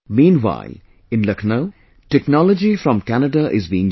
Meanwhile, in Lucknow technology from Canada is being used